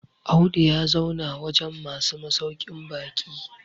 Audu ya zauna wajen masu masaukin baki